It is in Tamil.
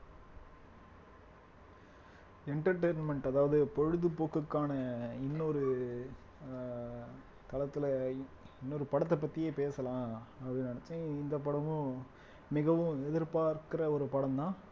entertainment அதாவது பொழுதுபோக்குக்கான இன்னொரு அஹ் களத்துல இன்னொரு படத்தை பத்தியே பேசலாம் அப்படின்னு நினைச்சேன் இந்த படமும் மிகவும் எதிர்பார்க்கிற ஒரு படம்தான்